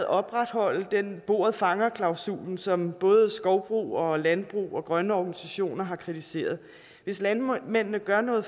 opretholde den bordet fanger klausul som både skovbrug landbrug og grønne organisationer har kritiseret hvis landmændene gør noget